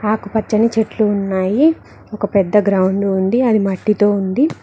ఆకుపచ్చని చెట్లు ఉన్నాయి ఒక పెద్ద గ్రౌండు ఉంది అది మట్టితో ఉంది.